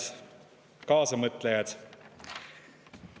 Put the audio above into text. Head kaasamõtlejad!